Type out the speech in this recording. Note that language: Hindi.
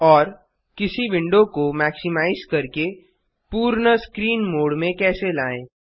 और किसी विंडो को मैक्सिमाइज करके पूर्ण स्क्रीन मोड में कैसे लाएँ